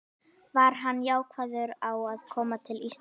Var hann jákvæður á að koma til Íslands?